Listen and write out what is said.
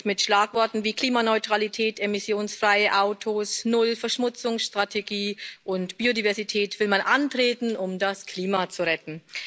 Mit Schlagworten wie Klimaneutralität, emissionsfreie Autos, Null Verschmutzung Strategie und Biodiversität will man antreten, um das Klima zu retten.